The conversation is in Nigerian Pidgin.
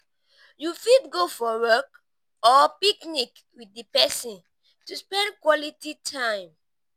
you fit go for walk or picnic with di person to spend quality time